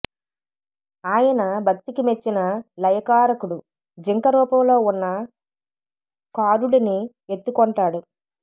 ఆయన భక్తికి మెచ్చిన లయకారకుడు జింక రూపంలో ఉన్న ఖారుడిని ఎత్తుకొంటాడు